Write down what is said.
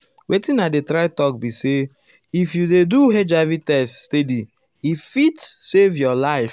wetin i dey try talk be say if you dey do hiv test steady e fit ah save your life.